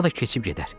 O da keçib gedər.